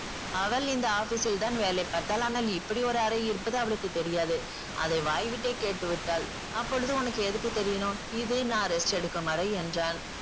அவள் இந்த office ல் தான் வேலை பார்த்தாள் ஆனால் இப்படி ஒரு அறை இருப்பது அவளுக்கு தெரியாது. அதை வாய் விட்டே கேட்டு விட்டாள். அப்பொழுது உனக்கு எதுக்கு தெரியணும்? இது நான் rest எடுக்கும் அறை என்றான்.